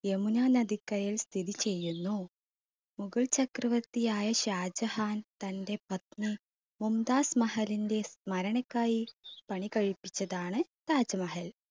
യമുന നദിക്കരയിൽ സ്ഥിതി ചെയ്യുന്നു. മുഗൾ ചക്രവർത്തിയായ ഷാജഹാൻ തന്റെ പത്നി മുംതാസ് മഹറിന്റെ സ്മരണയ്ക്കായി പണികഴിപ്പിച്ചതാണ് താജ് മഹൽ.